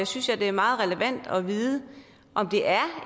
synes jeg det er meget relevant at få at vide om det er